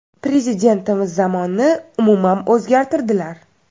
Prezidentimiz zamonni umuman o‘zgartirdilar.